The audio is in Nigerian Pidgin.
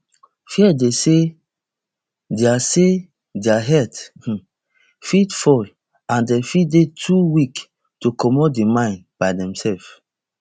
fear dey say dia say dia health um fit fail and dem fit dey too weak to comot di mine by themselves